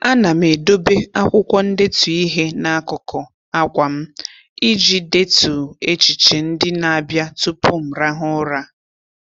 A na m edobe akwụkwọ ndetu ihe n'akụkụ akwa m iji detu echiche ndị na-abịa tụpụ m rahụ ụra.